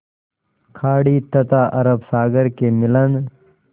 खाड़ी तथा अरब सागर के मिलन